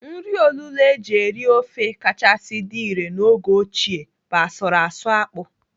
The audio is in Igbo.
Nri olulo eji eri ofe kachasị dị irè n'oge ochie bụ asụrụ asụ akpụ.